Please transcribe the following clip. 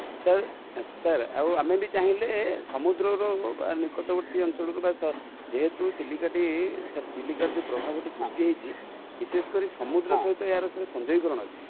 sir sir ଆଉ ଆମେ ବି ଚାହିଁଲେ ସମୁଦ୍ର ର ନିକଟବର୍ତୀ ଅଞ୍ଚଳ ରୁ ବା, ଯେହେତୁ ଚିଲିକା ଟି,sir ଚିଲିକା ର ଯୋଉ ପ୍ରଭାବ ଟି ଜଉ ସୃଷ୍ଟି ହେଇଛି ,ବିଶେଷ କରି ସମୁଦ୍ର ସହିତ ୟାର sir ସଂଯୋଗୀକରଣ ଅଛି